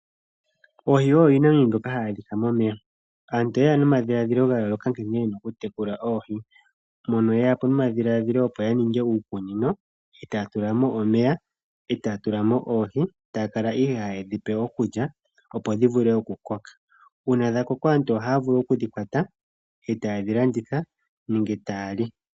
Oohi oyo iinamwenyo mbyoka hayi adhika momeya. Aantu oye ya nomadhiladhilo ga yooloka nkene ye na okutekula oohi, mono ye ya po nomadhiladhilo, opo ya ninge uukunino e taya tula mo omeya e taya tula mo oohi, taya kala ihe haye dhi pe okulya, opo dhi vule okukoka. Uuna dha koko aantu ohaya vulu okudhi kwata e taye dhi landitha nenge taya li.